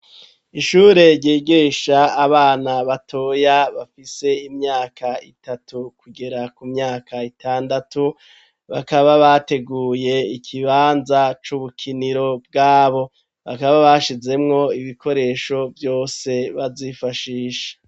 Ishure ryigisha abana batoya bafise imyaka itatu kugera ku myaka itandatu, bakaba bateguye ikibanza c'ubukiniro bwabo , bakaba bashizemwo ibikoresho vyose bazifashisha.